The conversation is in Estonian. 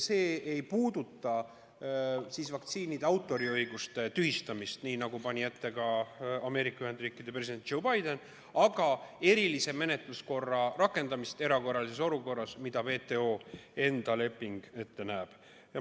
See ei puuduta vaktsiinide autoriõiguste tühistamist, nii nagu pani ette ka Ameerika Ühendriikide president Joe Biden, vaid erilise menetluskorra rakendamist erakorralises olukorras, mida WTO enda leping ette näeb.